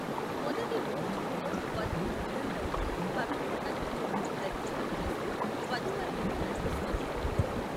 మొదటి మూడు చుట్లలో, వధువు ముందంట ఉండి పవిత్ర అగ్ని చుట్టూ ప్రదక్షిణలు చేస్తూ వధూవరులను నడిపిస్తుంది.